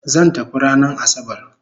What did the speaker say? Zan tafi ranan asabar